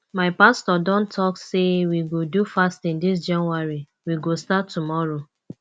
my pastor don talk sey we go do fasting dis january we go start tomorrow